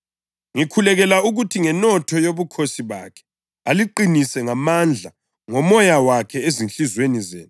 Ngikhulekela ukuthi ngenotho yobukhosi bakhe aliqinise ngamandla ngoMoya wakhe ezinhliziyweni zenu